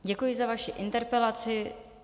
Děkuji za vaši interpelaci.